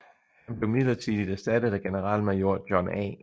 Han blev midlertidigt erstattet af generalmajor John A